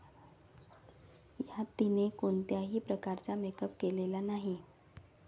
यात तिने कोणत्याही प्रकारचा मेकअप केलेला नाही.